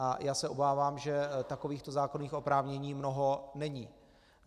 A já se obávám, že takovýchto zákonných oprávnění mnoho není.